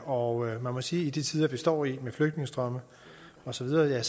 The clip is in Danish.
og man må sige at i de tider vi står i med flygtningestrømme og så videre